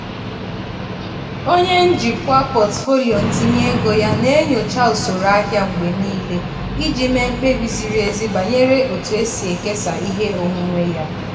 onye njikwa pọtụfoliyo ntinye ego ya na-enyocha usoro ahịa mgbe niile iji mee mkpebi ziri ezi banyere otu e si ekesa ihe onwunwe ya.